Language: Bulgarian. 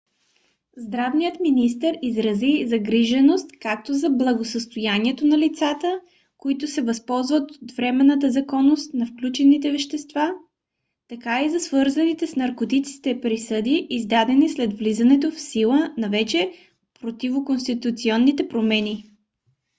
здравният министър изрази загриженост както за благосъстоянието на лицата които се възползват от временната законност на включените вещества така и за свързаните с наркотиците присъди издадени след влизането в сила на вече противоконституционните промени